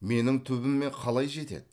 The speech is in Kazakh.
менің түбіме қалай жетеді